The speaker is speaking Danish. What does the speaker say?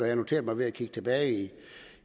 jeg noteret mig ved at kigge tilbage